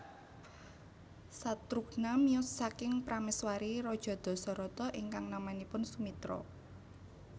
Satrughna miyos saking prameswari raja Dasarata ingkang namanipun Sumitra